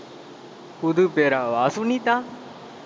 புது பேராவா சுனிதா